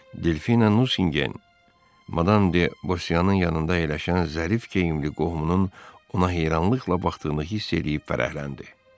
Delfina Nusingen, Madam de Bosiyanın yanında əyləşən zərif geyimli qohumunun ona heyranlıqla baxdığını hiss eləyib fərəhləndi.